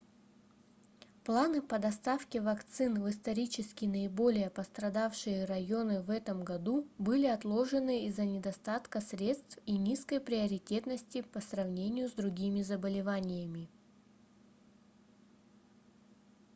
планы по доставке вакцин в исторически наиболее пострадавшие районы в этом году были отложены из-за недостатка средств и низкой приоритетности по сравнению с другими заболеваниями